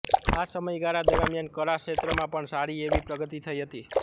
આ સમયગાળા દરમિયાન કળા ક્ષેત્રમાં પણ સારીએવી પ્રગતિ થઈ હતી